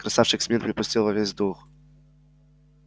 красавчик смит припустил во весь дух